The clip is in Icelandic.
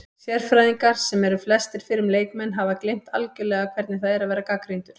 Sérfræðingar, sem eru flestir fyrrum leikmenn, hafa gleymt algjörlega hvernig það er að vera gagnrýndur